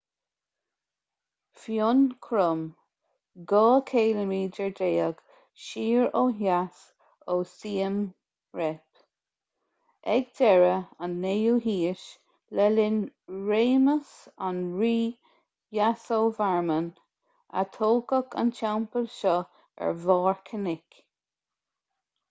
phnom krom 12 km siar ó dheas ó siem reap ag deireadh an 9ú haois le linn réimeas an rí yasovarman a tógadh an teampall seo ar bharr cnoic